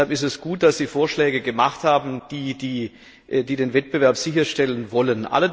Deshalb ist es gut, dass Sie Vorschläge gemacht haben, die den Wettbewerb sicherstellen wollen.